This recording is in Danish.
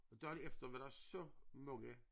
Dagen efter var der så mange